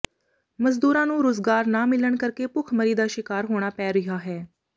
ਮਜ਼ਦੂਰਾਂ ਨੂੰ ਰੁਜ਼ਗਾਰ ਨਾ ਮਿਲਣ ਕਰਕੇ ਭੁੱਖਮਰੀ ਦਾ ਸ਼ਿਕਾਰ ਹੋਣਾ ਪੈ ਰਿਹਾ ਹੈ